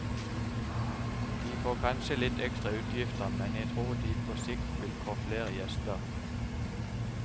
De får kanskje litt ekstra utgifter, men jeg tror de på sikt vil få flere gjester.